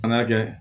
An k'a kɛ